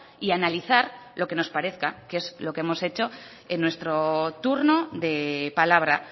y analizar lo que nos parezca que es lo que hemos hecho en nuestro turno de palabra